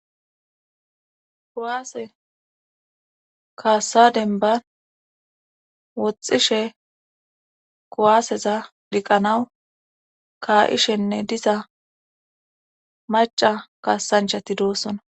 kowaase kaassadenban woxxishe kowaaseza diqqanawu kaa7ishenne diza maca kaassanchati doossona